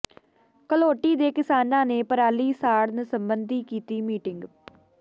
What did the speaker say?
ਘਲੋਟੀ ਦੇ ਕਿਸਾਨਾਂ ਨੇ ਪਰਾਲੀ ਸਾੜਨ ਸਬੰਧੀ ਕੀਤੀ ਮੀਟਿੰਗ